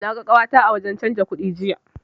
Na ga ƙawata a wajen canji kudi jiya.